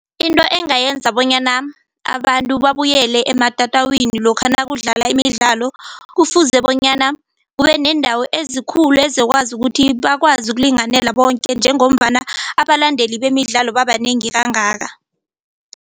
Into engayenza bonyana abantu babuyele ematatawini lokha nakudlalwa imidlalo kufuze bonyana kube neendawo ezikhulu ezokwazi ukuthi bakwazi ukulinganela bonke njengombana abalandeli bemidlalo babanengi kangaka.